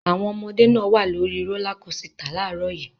Àwọn ọmọdé náà wà lórí rólá kósità láàárọ̀ yìí.